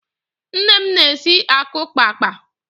Nne m na-esi akukpaakpa